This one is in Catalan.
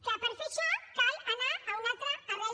clar per fer això cal anar a una altra arrel